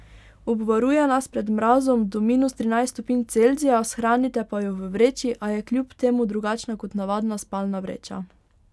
Obvaruje nas pred mrazom do minus trinajst stopinj Celzija, shranite pa jo v vreči, a je kljub temu drugačna kot navadna spalna vreča.